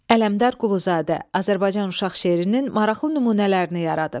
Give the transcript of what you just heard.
Ələmdar Quluzadə Azərbaycan uşaq şeirinin maraqlı nümunələrini yaradıb.